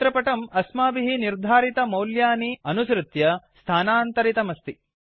चित्रपटं अस्माभिः निर्धारितमौल्यानि अनुसृत्य स्थानान्तरितमस्ति